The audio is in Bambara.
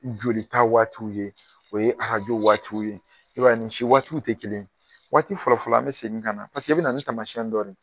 Jolita waatiw ye, o ye arajo waatiw ye, i b'a ye ni si waati tɛ kelen ye. Waati fɔlɔ fɔlɔ an bɛ segin ka na, paseke i bɛ na ni taamasiyɛn dɔ de ye.